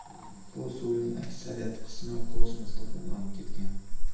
Bu suvning aksariyat qismi kosmosda bug‘lanib ketgan.